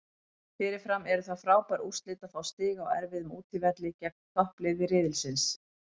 Fyrirfram eru það frábær úrslit að fá stig á erfiðum útivelli gegn toppliði riðilsins.